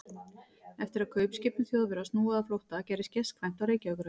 Eftir að kaupskipum Þjóðverja var snúið á flótta, gerðist gestkvæmt á Reykjavíkurhöfn.